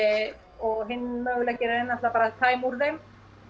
og hinn möguleikinn er náttúrulega bara að tæma úr þeim